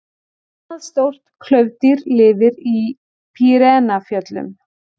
Annað stórt klaufdýr lifir í Pýreneafjöllum.